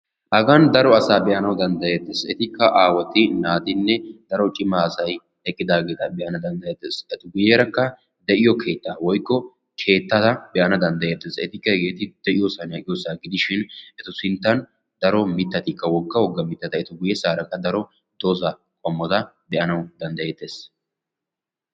Hagan daro asa be'anaw danddayeetes. Etikka aawati naatimne daro cimaa asay eqqidaaga be"anaw danddayetees. Etu guyyerakka de'iyo keettaa woykko keettata be'ana danddayeettes. Etikka hege de'iyoosa aqqiyoosa gidishin etu sinttan daro mittatikka wogga wogga eta guyyeesarakka daro dooza qommota be'anaw danddayetees.